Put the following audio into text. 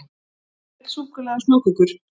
Hver vill súkkulaði og smákökur?